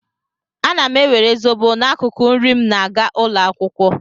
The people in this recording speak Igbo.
Ana m ewere zobo n'akụkụ nri m na-aga ụlọ akwụkwọ.